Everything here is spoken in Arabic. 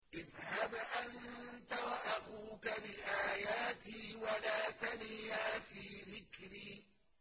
اذْهَبْ أَنتَ وَأَخُوكَ بِآيَاتِي وَلَا تَنِيَا فِي ذِكْرِي